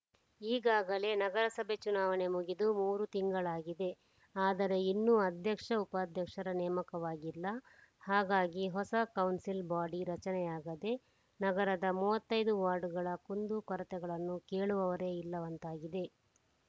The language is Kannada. ಈಗಾಗಲೇ ನಗರಸಭೆ ಚುನಾವಣೆ ಮುಗಿದು ಮೂರು ತಿಂಗಳಾಗಿದೆ ಆದರೆ ಇನ್ನೂ ಅಧ್ಯಕ್ಷಉಪಾಧ್ಯಕ್ಷರ ನೇಮಕವಾಗಿಲ್ಲ ಹಾಗಾಗಿ ಹೊಸ ಕೌನ್ಸಿಲ್‌ ಬೊಡಿ ರಚನೆಯಾಗದೆ ನಗರದ ಮೂವತ್ತ್ ಐದು ವಾರ್ಡ್‌ಗಳ ಕುಂದುಕೊರತೆಗಳನ್ನು ಕೇಳುವವರೇ ಇಲ್ಲವಂತಾಗಿದೆ